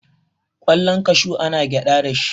kwallon kashu ana gyada da shi